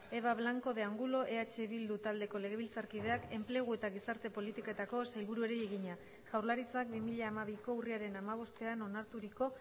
eva blanco de angulo eh bildu taldeko legebiltzarkideak enplegu eta gizarte politiketako sailburuari egina jaurlaritzak bi mila hamabiko urriaren hamabostean onarturiko